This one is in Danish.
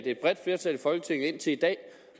et bredt flertal i folketinget indtil i dag